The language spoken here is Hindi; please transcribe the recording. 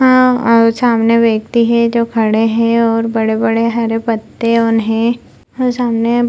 अं औ सामने व्यक्ति है जो खड़े हें और बड़े-बड़े हरे पत्ते उन्हें ह सामने --